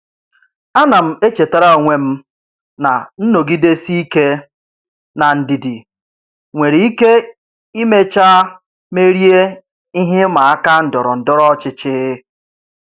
Ana m echetara onwe m na nnọgidesi ike na ndidi nwere ike imecha merie ihe ịma aka ndọrọ ndọrọ ọchịchị.